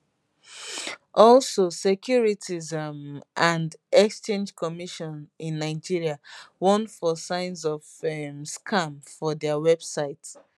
also securities um and exchange commission in nigeria warn for sign of um scam for dia website